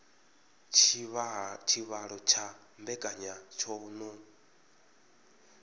tshivhalo tsha mbekanya tsho no